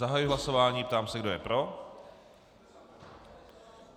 Zahajuji hlasování, ptám se, kdo je pro.